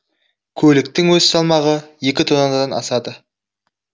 көліктің өз салмағы екі тоннадан асады